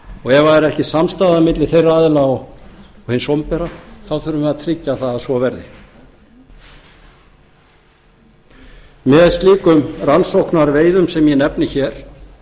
og útgerðarmenn ef það er ekki samstaða milli þeirra aðila og hins opinbera þurfum við að tryggja að svo verði með slíkum rannsóknarveiðum sem ég nefni hér